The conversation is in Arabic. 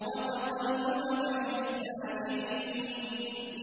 وَتَقَلُّبَكَ فِي السَّاجِدِينَ